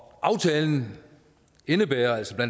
aftalen indebærer altså